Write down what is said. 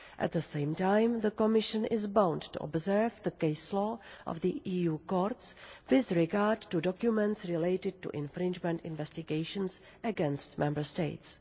At the same time, the Commission is bound to observe the case law of the EU courts with regard to documents relating to infringement investigations against Member States.